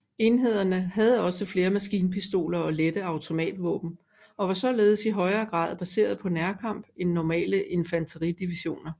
Enhederne havde også flere maskinpistoler og lette automatvåben og var således i højere grad baseret på nærkamp end normale infanteridivisioner